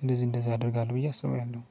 እንደዚህ እንደዚህ አደርጋለሁ ብዬ አስባውም